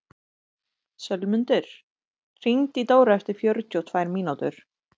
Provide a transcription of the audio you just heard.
Sölmundur, hringdu í Dóra eftir fjörutíu og tvær mínútur.